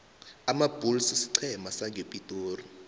amabulls siqhema sangepitori